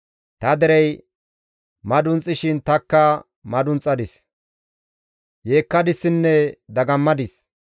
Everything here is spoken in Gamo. Ta derey madunxishin tanikka madunxadis; yeekkadissinne dagammadis.